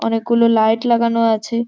অনেকগুলো লাইট লাগানো আছে।